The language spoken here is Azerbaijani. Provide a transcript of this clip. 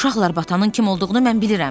Uşaqlar batanın kim olduğunu mən bilirəm.